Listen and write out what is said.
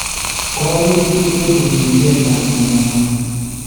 kooyum chitugul kotienge chang�intanywan